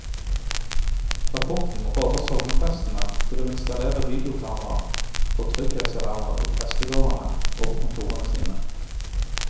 Rapporten råder sogneprestene til å installere videokameraer og trygghetsalarmer i prestegårdene og på kontorene sine.